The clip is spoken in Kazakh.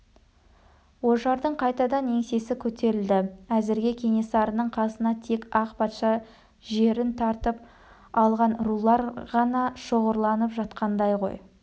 ожардың қайтадан еңсесі көтерілді әзірге кенесарының қасына тек ақ патша жерін тартып алған рулар ғана шоғырланып жатқандай ғой